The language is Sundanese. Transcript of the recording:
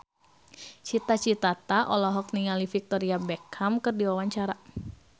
Cita Citata olohok ningali Victoria Beckham keur diwawancara